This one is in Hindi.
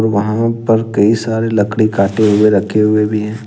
वहां पर कई सारे लकड़ी काटे हुए रखे हुए भी हैं।